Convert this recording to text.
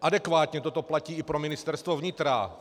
Adekvátně toto platí i pro Ministerstvo vnitra.